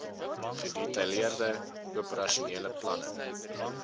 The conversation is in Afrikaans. gedetailleerde operasionele planne